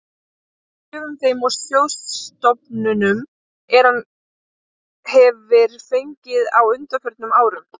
af gjöfum þeim og sjóðstofnunum, er hann hefir fengið á undanförnum árum.